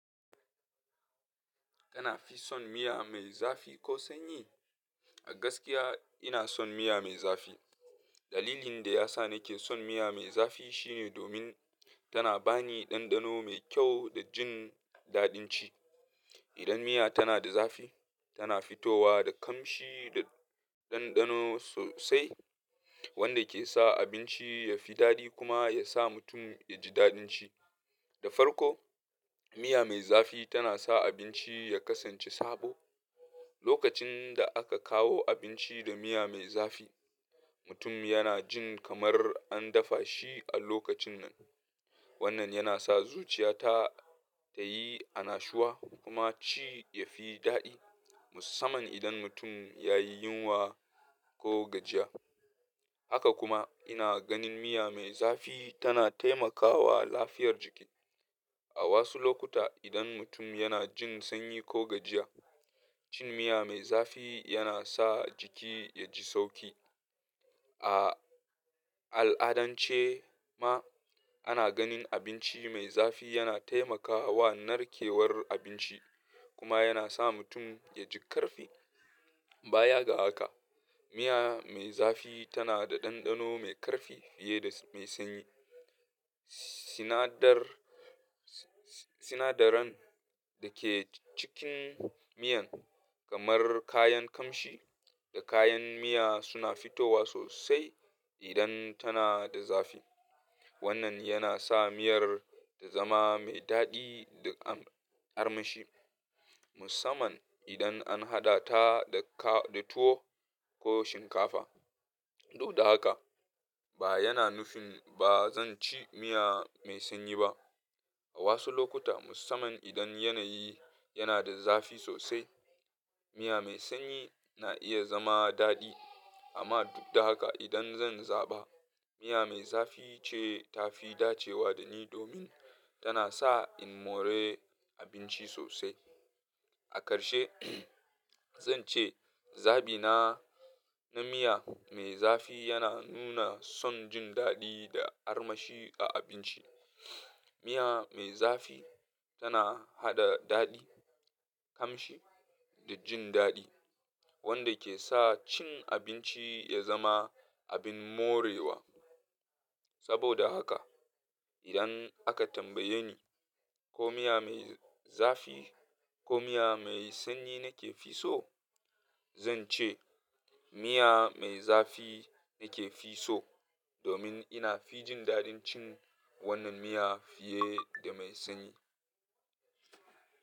Kana fi son miya mai zafi ko sanyi? A gaskiya ina son miya mai zafi. Dalilin da ya sa nake son miya mai zafi shine domin tana bani ɗanɗano mai kyau da jin daɗin ci. Idan miya tana da zafi, tana fitowa da kamshi da ɗanɗano sosai wanda ke sa abinci ya fi daɗi kuma ya sa mutum ya ji daɗin shi. Da farko, miya mai zafi tana sa abinci ya kasance sabo. Lokacin da aka kawo abinci da miya mai zafi, mutum yana jin kamar an dafa shi a lokacin nan. Wannan yana sa zuciya ta yi annashuwa kuma ci ya fi daɗi, musamman idan mutum ya yi yunwa ko gajiya. Haka kuma, ina ganin miya mai zafi tana taimakawa lafiyar jiki. A wasu lokuta, idan mutum yana jin sanyi ko gajiya, cin miya mai zafi yana sa jiki ya ji sauƙi. A al'adance ma ana ganin abinci mai zafi yana taimakawa narkewar abinci kuma yana sa mutum ya ji ƙarfi. Baya ga haka, miya mai zafi tana da ɗanɗano mai ƙarfi fiye da mai sanyi. Sinadaran da ke cikin miyan, kamar kayan kamshi da kayan miya suna fitowa sosai idan tana da zafi. Wannan yana sa miyar ta zama mai daɗi da armashi, musamman idan an haɗa ta da tuwo ko shinkafa. Do haka, ba yana nufin ba zan ci miya mai sanyi ba. A wasu lokuta, musamman idan yanayi yana da zafi sosai, miya mai sanyi na iya zama daɗi. Amma duk da haka, idan zan zaba, miya mai zafi ce ta fi dacewa da ni domin tana sa in more abinci sosai. A ƙarshe, zan ce zabina na miya mai zafi yana nuna son jin daɗi da armashi a abinci. Miya mai zafi tana haɗa daɗi, kamshi da jin daɗi wanda ke sa cin abinci ya zama abin morewa. Saboda haka, idan aka tambaye ni ko miya mai zafi ko miya mai sanyi nake fi so, zan ce miya mai zafi nake fi so domin ina fi jin daɗin cin wannan miya fiye da mai sanyi.